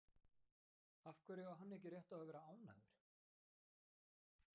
Af hverju á hann ekki rétt á að vera ánægður?